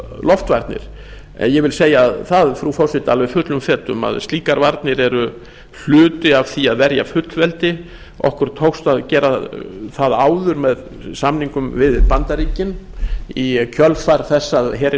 loftvarnir ég vil segja það frú forseti alveg fullum fetum að slíkar varnir eru hluti af því að verja fullveldi okkur tókst að gera það áður með samningum við bandaríkin í kjölfar þess að herinn